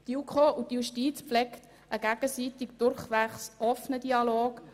Die JuKo und die Justiz pflegen einen gegenseitig durchwegs offenen Dialog.